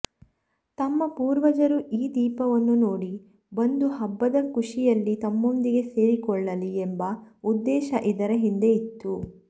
ತಮ್ಮ ಪೂರ್ವಜರು ಈ ದೀಪವನ್ನು ನೋಡಿ ಬಂದು ಹಬ್ಬದ ಖುಶಿಯಲ್ಲಿ ತಮ್ಮೊಂದಿಗೆ ಸೇರಿಕೊಳ್ಳಲಿ ಎಂಬ ಉದ್ದೇಶ ಇದರ ಹಿಂದೆ ಇತ್ತು